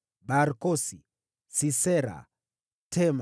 wazao wa Barkosi, Sisera, Tema,